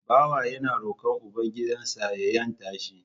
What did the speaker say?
Bawa yana roƙon uban gidan sa ya 'yanta shi